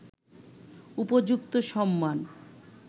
উপযুক্ত সম্মান